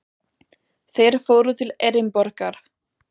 Þeir fóru til Edinborgar.